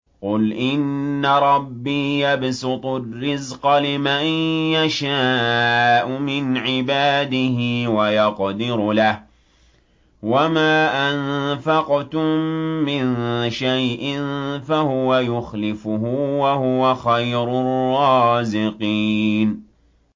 قُلْ إِنَّ رَبِّي يَبْسُطُ الرِّزْقَ لِمَن يَشَاءُ مِنْ عِبَادِهِ وَيَقْدِرُ لَهُ ۚ وَمَا أَنفَقْتُم مِّن شَيْءٍ فَهُوَ يُخْلِفُهُ ۖ وَهُوَ خَيْرُ الرَّازِقِينَ